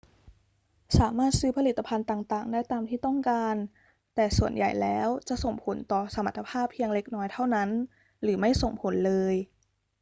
สามารถซื้อผลิตภัณฑ์ต่าง ๆ ได้ตามที่ต้องการ แต่ส่วนใหญ่แล้วจะส่งผลต่อสมรรถภาพเพียงเล็กน้อยเท่านั้นหรือไม่ส่งผลเลย